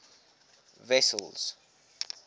wessels